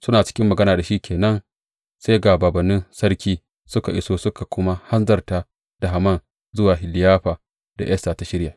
Suna cikin magana da shi ke nan, sai ga bābānnin sarki, suka iso suka kuma hanzarta da Haman zuwa liyafar da Esta ta shirya.